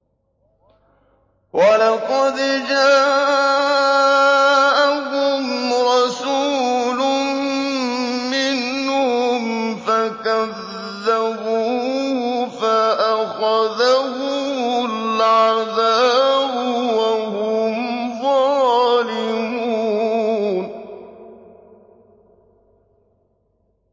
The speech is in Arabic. وَلَقَدْ جَاءَهُمْ رَسُولٌ مِّنْهُمْ فَكَذَّبُوهُ فَأَخَذَهُمُ الْعَذَابُ وَهُمْ ظَالِمُونَ